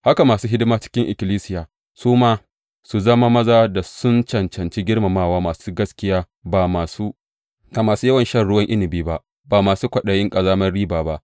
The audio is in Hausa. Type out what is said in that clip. Haka masu hidima a cikin ikkilisiya; su ma, su zama maza da sun cancanci girmamawa, masu gaskiya, ba masu yawan shan ruwan inabi ba, ba masu kwaɗayin ƙazamar riba ba.